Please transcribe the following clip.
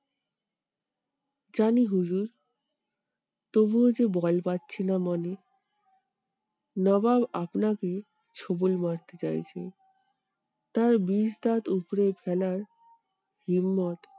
জানি হুজুর তবুও যে বল পাচ্ছিনা মনে। নবাব আপনাকে ছোবল মারতে চাইছে তার বিষ দাঁত উপরে ফেলার